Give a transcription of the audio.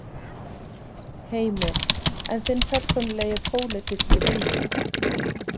Heimir: En þinn persónulegi pólitíski vilji?